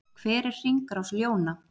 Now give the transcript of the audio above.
Hver er hringrás ljóna?